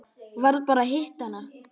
Varð bara að hitta hana.